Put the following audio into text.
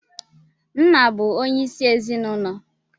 Nna bụ onye isi ezinụlọ.